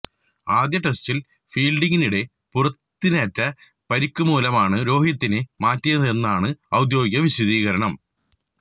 ആദ്യ ടെസ്റ്റില് ഫീല്ഡിംഗിനിടെ പുറത്തിനേറ്റ പരിക്ക് മൂലമാണ് രോഹിതിനെ മാറ്റിയതെന്നാണ് ഔദ്യോഗിക വിശദീകരണം